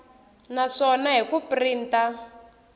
na swona hi ku printa